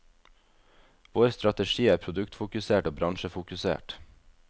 Vår strategi er produktfokusert og bransjefokusert.